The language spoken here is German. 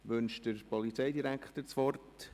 Wünscht der Polizeidirektor das Wort?